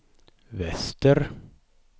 väster